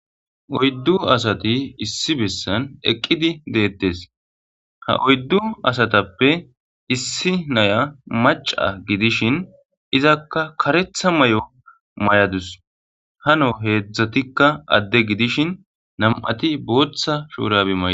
Oyddu asati issi bessan eeqiddi de'ettes ha oyddu asatappe issi naya maca gidishin izakka kareththa mayo mayadus hano nam'iatti adde gidishin boththa mayo mayida